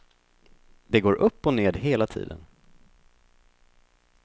Det går upp och ned hela tiden.